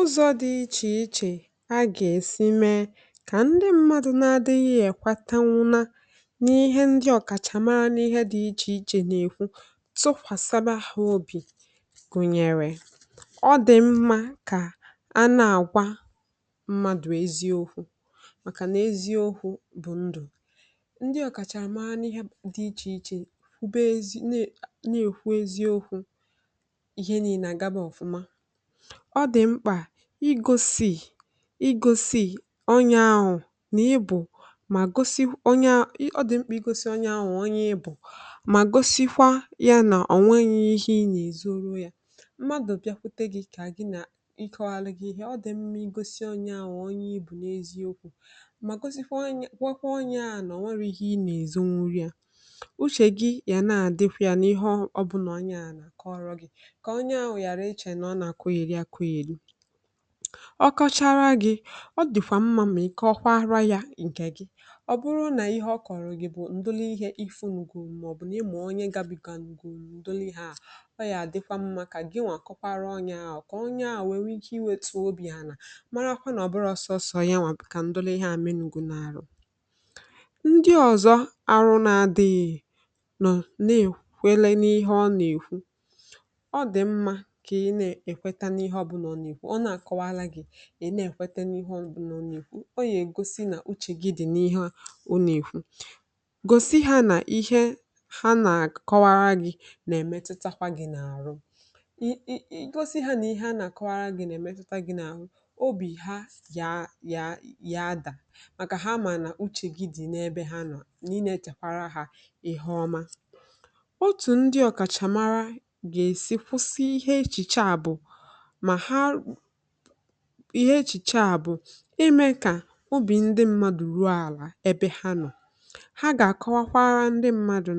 Ụzọ dị iche iche e si eme ka ndị mmadụ na-adị n’otu, ma ghọta ihe ndị ọkachamara na-ekwu, tụkwasịkwa ha obi Ọ dị mma mgbe a na-agwa mmadụ eziokwu, n’ihi na eziokwu bụ ndụ. Ndị ọkachamara n’ihe dị iche iche kwesịkwara ịna-ekwu eziokwu ma kwube ya n'ụzọ doro anya. Ọ dị mkpa igosi onye ahụ na ị bụ onye a pụrụ ịtụkwasị obi, ma gosikwa ya na ihe ị na-agwa ya bụ n’eziokwu. Mgbe mmadụ bịakwutere gị, kọọ gị ihe, ọ dị mkpa igosi ya onye ị bụ, na ihe ọ bụla ị na-ezube ime bụ ihe ọma. Gosikwa ya na uche gị dịrị ya, na ị na-asọpụrụ ihe ọ na-ekwu, ọbụna ma ọ bụrụ na ihe ọ kọọrọ gị bụ nsogbu, ihe mgbu, maọbụ ihe metụtara afọ ojuju ya. Ọ dịkwa mma ma ba uru ka i gwa onye ahụ na ọ bụghị naanị ya ka ihe ndị a na-emetụ. Ikwu ihe dị otu a nwere ike inye ya ume, mee ka obi ya daa, na mee ka o nwee mmetụta na a na-anụ ya. Ọ bụrụ na ihe ọ kọọrọ gị bụ ihe na-ewute gị maọbụ na-eme ka uche gị daa, ọ dị mkpa ka ị gwakwara ya, ma na-eche echiche banyere ihe ọma ga-esi na ya pụta. Otu ndị ọkachamara si mara ma e mesịrị bụ site n’ịtụle otu obi mmadụ si arụ ọrụ n’eziokwu na ọnọdụ ha. Ha ga-akọwakwa ndị mmadụ,